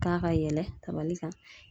K'a ka yɛlɛ kabali kan.